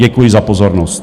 Děkuji za pozornost.